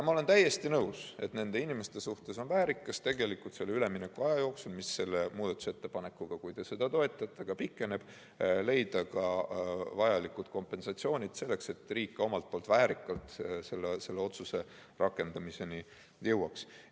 Ma olen täiesti nõus, et on väärikas üleminekuaja jooksul, mis selle eelnõu kohaselt, kui te seda toetate, pikeneb, leida ka vajalikud kompensatsioonid, selleks et riik väärikalt selle otsuse rakendamiseni jõuaks.